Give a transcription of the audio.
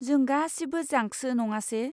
जों गासिबो जांकसो नङासे?